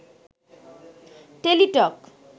Teletalk